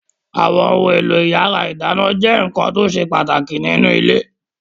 Àwọn ohun-èlò ìyàrá-ìdáná jẹ́ nǹkan tó ṣe pàtàkì nínú ilé.